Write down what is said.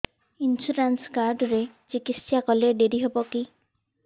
insurance card ରେ ଚିକିତ୍ସା କଲେ ଡେରି ହବକି